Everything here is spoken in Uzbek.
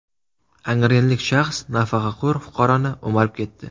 Angrenlik shaxs nafaqaxo‘r fuqaroni o‘marib ketdi.